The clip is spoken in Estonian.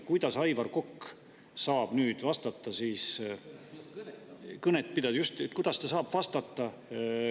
Kuidas Aivar Kokk saab nüüd vastata, just kõnet pidades vastata?